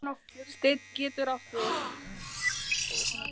Steinn getur átt við